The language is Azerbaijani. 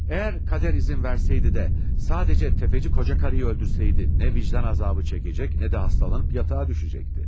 Əgər qədər izin verseydi də, sadəcə təfəci qocakarını öldürsəydi, nə vicdan azabı çəkəcək, nə də hastalanıb yatağa düşəcəkdi.